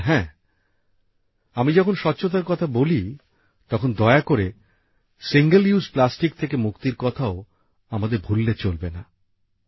আর হ্যাঁ আমি যখন স্বচ্ছতার কথা বলি তখন দয়া করে একবার ব্যবহারযোগ্য প্লাস্টিক থেকে মুক্তির কথাও আমাদের ভুললে চলবে না